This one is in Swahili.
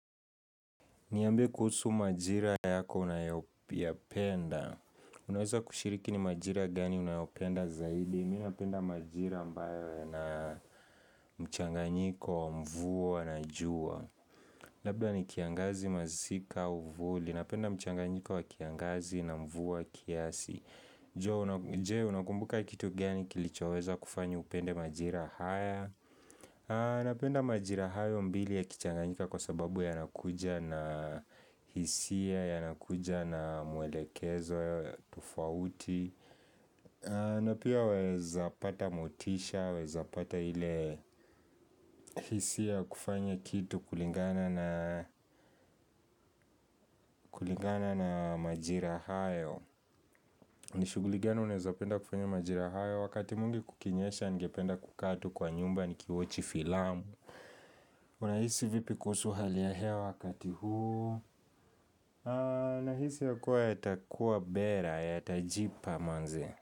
Niambie kuhusu majira yako unayoyapenda. Unaweza kushiriki ni majira gani unayopenda zaidi. Mimi napenda majira ambayo yana mchanganyiko, mvua, na jua. Labda ni kiangazi, Masika, uvuli. Napenda mchanganyiko wa kiangazi na mvua kiasi. Jee, unakumbuka kitu gani kilichoweza kufanya upende majira haya. Napenda majira hayo mbili yakichanganyika kwa sababu yanakuja na hisia, yanakuja na mwelekezo tofauti na pia waweza pata motisha, waweza pata ile hisia ya kufanya kitu kulingana na kulingana na majira hayo Nishuguli gani unaweza penda kufanya majira hayo wakati mwingi kukinyesha ningependa kukaa kwa nyumba ni kiwatch filamu Unahisi vipi kuhusu hali ya hewa wakati huu? Nahisi ya kuwa yatakuwa bora yatajipa manze.